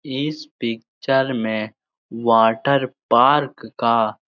इस पिक्चर में water park का --